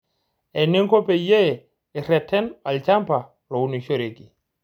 Eninko peyie ireten olchampa lounishoreki.